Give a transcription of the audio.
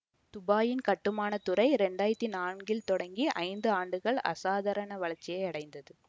துபாயின் கட்டுமான துறை இரண்டு ஆயிரத்தி நான்கிள் தொடங்கி ஐந்து ஆண்டுகள் அசாதாரண வளர்ச்சியை அடைந்தது